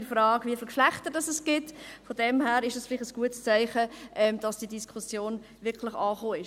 Dies ist vielleicht ein gutes Zeichen dafür, dass diese Diskussion wirklich angenommen ist.